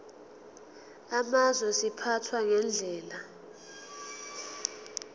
amazwe ziphathwa ngendlela